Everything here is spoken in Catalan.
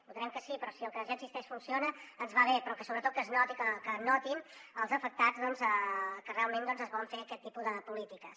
votarem que sí però si el que ja existeix funciona ens va bé però sobretot que notin els afectats que realment es volen fer aquest tipus de polítiques